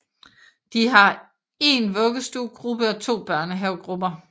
Det har 1 vuggestuegruppe og 2 børnehavegrupper